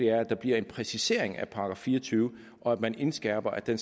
er at der bliver en præcisering af § fire og tyve og at man indskærper at den